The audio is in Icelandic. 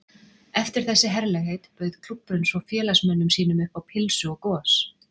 Eftir þessi herlegheit bauð klúbburinn svo félagsmönnum sínum upp á pylsu og gos.